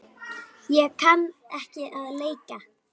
Ég kann ekki að leika.